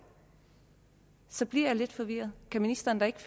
så bliver jeg lidt forvirret kan ministeren da ikke